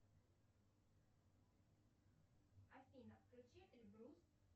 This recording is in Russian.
афина включи эльбрус